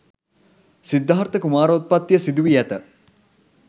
සිද්ධාර්ථ කුමාරෝත්පත්තිය සිදුවී ඇත